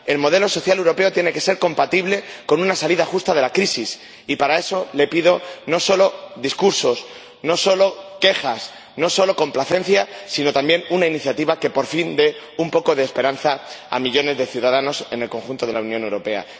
El modelo social europeo tiene que ser compatible con una salida justa de la crisis, y para eso le pido no solo discursos, no solo quejas, no solo complacencia, sino también una iniciativa que por fin dé un poco de esperanza a millones de ciudadanos en el conjunto de la Unión Europea.